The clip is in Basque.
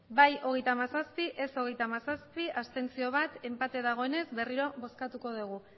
bai hogeita hamazazpi ez hogeita hamazazpi abstentzioak bat enpate dagoenez berriro bozkatuko dugu